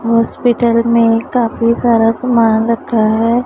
Hospital में काफी सारा सामान रखा है।